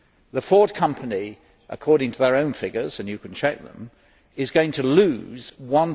The Ford Company according to their own figures and you can check them is going to lose EUR